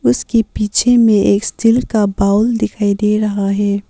उसके पीछे में एक स्टील का बाउल दिखाई दे रहा है।